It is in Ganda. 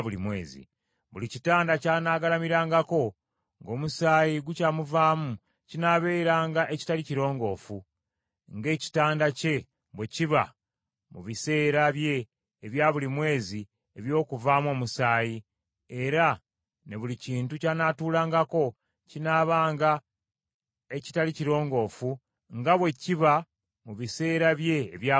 Buli kitanda ky’anaagalamirangako ng’omusaayi gukyamuvaamu kinaabeeranga ekitali kirongoofu, ng’ekitanda kye bwe kiba mu biseera bye ebya buli mwezi eby’okuvaamu omusaayi, era ne buli kintu ky’anaatuulangako kinaabanga ekitali kirongoofu nga bwe kiba mu biseera bye ebya buli mwezi.